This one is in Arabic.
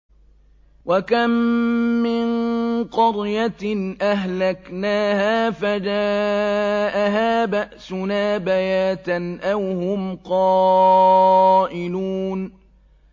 وَكَم مِّن قَرْيَةٍ أَهْلَكْنَاهَا فَجَاءَهَا بَأْسُنَا بَيَاتًا أَوْ هُمْ قَائِلُونَ